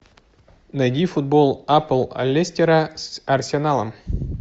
найди футбол апл лестера с арсеналом